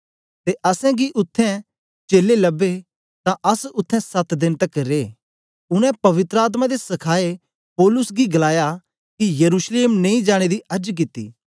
ते असेंगी उत्थें चेलें लबे तां अस उत्थें सत देन तकर रे उनै पवित्र आत्मा दे सखाए पौलुस गी गलाया के यरूशलेम नेई जाने दी अर्ज कित्ती